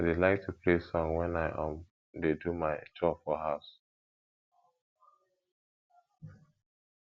i dey like to play song wen i um dey do my chore for house